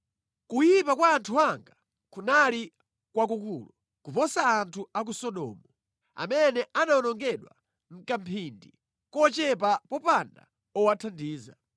Kuyipa kwa anthu anga kunali kwakukulu kuposa anthu a ku Sodomu, amene anawonongedwa mʼkamphindi kochepa popanda owathandiza.